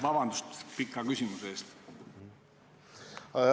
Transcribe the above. Vabandust pika küsimuse eest!